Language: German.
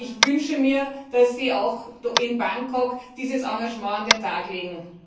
Ich wünsche mir, dass Sie auch in Bangkok dieses Engagement an den Tag legen.